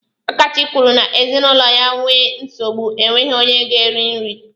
Akachi kwuru n'ezinụlọ ya nwee nsogbu, enweghị onye ga-eri nri.